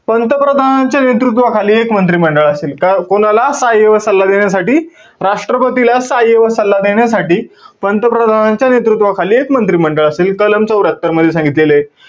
पंतप्रधानांच्या नेतृत्वाखाली एक मंत्रिमंडळ असेल. का~ कोणाला सहाय्य्य व सल्ला देण्यासाठी? राष्ट्रपतीला सहाय्य्य व सल्ला देण्यासाठी, पंतप्रधानांच्या नेतृत्वाखाली एक मंत्रिमंडळ असेल. कलम चौर्यत्तर मध्ये सांगितलेलंय.